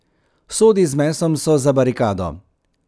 Sodi z mesom so za barikado.